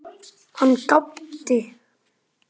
Hann gapti.